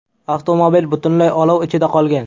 Avtomobil butunlay olov ichida qolgan.